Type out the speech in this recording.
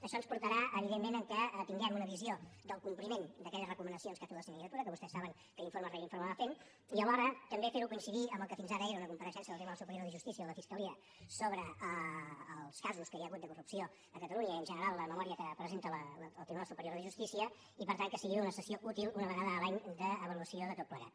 això ens portarà evidentment que tinguem una visió del compliment d’aquelles recomanacions que ha fet la sindicatura que vostès saben que informe rere informe va fent i alhora també fer ho coincidir amb el que fins ara era una compareixença del tribunal superior de justícia o de la fiscalia sobre els casos que hi ha hagut a catalunya i en general la memòria que presenta el tribunal superior de justícia i per tant que sigui una sessió útil una vegada l’any d’avaluació de tot plegat